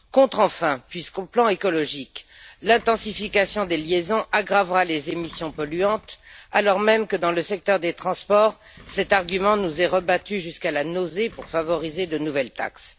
Contre enfin puisque sur le plan écologique, l'intensification des liaisons aggravera les émissions polluantes, alors même que, dans le secteur des transports, cet argument nous est rebattu jusqu'à la nausée pour favoriser de nouvelles taxes.